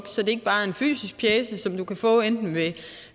så det ikke bare er en fysisk pjece som du kan få enten ved